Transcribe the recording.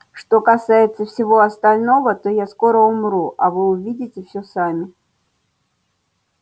что касается всего остального то я скоро умру а вы увидите всё сами